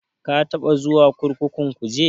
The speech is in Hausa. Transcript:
Ka taɓa zuwa kurkukun Kuje?